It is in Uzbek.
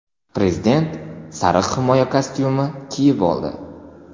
Prezident sariq himoya kostyumi kiyib oldi.